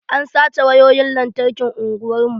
An sace wayoyin lantarkin unguwar mu.